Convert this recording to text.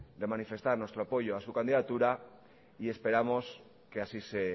de manifestar nuestro apoyo a su candidatura y esperamos que así se